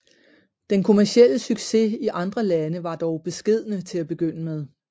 Den kommercielle succes i andre lande var dog beskedne til at begynde med